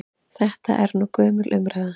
Þetta er nú gömul umræða.